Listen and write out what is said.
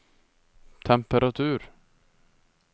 temperatur